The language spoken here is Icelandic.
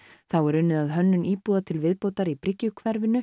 þá er unnið að hönnun íbúða til viðbótar í